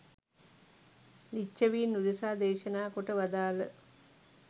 ලිච්ඡවීන් උදෙසා දේශනා කොට වදාළ